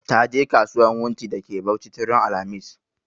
Ta je kasuwan wunti da ke Bauchi tun ran alhamis